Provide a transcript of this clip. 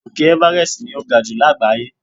Òkè Everest ni o ga ju lágbàáyé